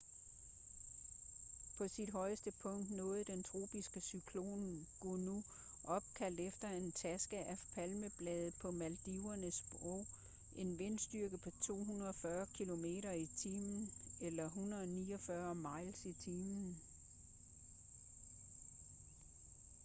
på sit højeste punkt nåede den tropiske cyklon gonu opkaldt efter en taske af palmeblade på maldivernes sprog en vindstyrke på 240 kilometer i timen 149 mil i timen